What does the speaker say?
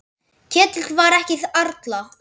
Ketill var ekki allra.